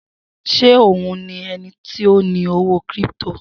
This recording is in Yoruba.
Se òhun ni ẹnití ọ ní owó kiripito?